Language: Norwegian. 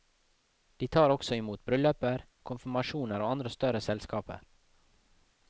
De tar også imot brylluper, konfirmasjoner og andre større selskaper.